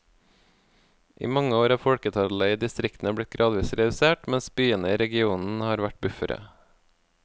I mange år er folketallet i distriktene blitt gradvis redusert, mens byene i regionen har vært buffere.